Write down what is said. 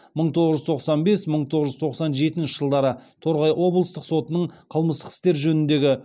мың тоғыз жүз тоқсан бес мың тоғыз жүз тоқсан жетінші жылдары торғай облыстық сотының қылмыстық істер жөніндегі